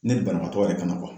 Ne ni banabagatɔ yɛrɛ kama